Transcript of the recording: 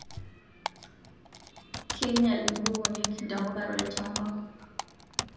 Keinyal inkukunik ntapuka tolchamba